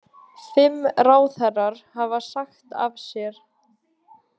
Fimm ráðherrar hafa sagt af sér